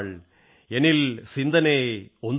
എനിൽ സിന്ദനൈ ഒന്തുടൈയാൾ